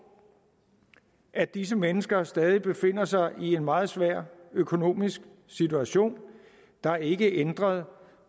at disse mennesker stadig befinder sig i en meget svær økonomisk situation der er ikke ændret